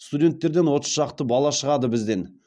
студенттерден отыз шақты бала шығады бізден